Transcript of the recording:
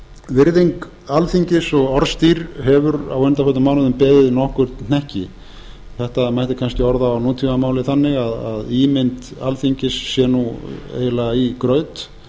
virðing alþingis og orðstír hefur á undanförnum mánuðum beðið nokkurn hnekki þetta mætti kannski orða á nútaammáli þannig að ímynd alþingis sé eiginlega í graut